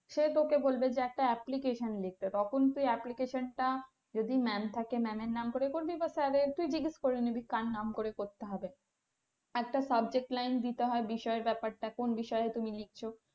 সে তোকে বলবে যে একটা application লিখতে তখন তুই application টা যদি mam থাকে mam এর নাম করে বা স্যারের তুই জিজ্ঞেস করে নিবি কার নাম করে করতে হবে একটা subject line দিতে হয় বিষয়ের ব্যাপারটা কোন বিষয়ে তুমি লিখছো।